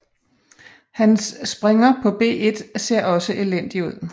Hans springer på b1 ser også elendig ud